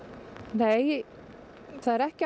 nei það er ekki